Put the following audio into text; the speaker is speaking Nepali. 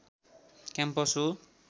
क्याम्पस हो